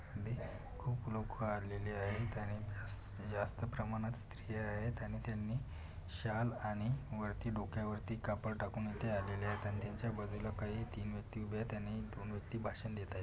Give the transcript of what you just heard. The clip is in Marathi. खूप लोक आलेले आहेत आणि जास्त प्रमाणात स्त्रिया आहेत आणि त्यांनी शाल आणि वरती डोक्या वरती कापड टाकून इथे आलेले आहेत आणि त्यांच्या बाजूला काही तीन व्यक्ति उभ्या आहे आणि दोन व्यक्ति भाषण देत आहे.